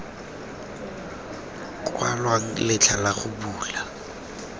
kwalwang letlha la go bula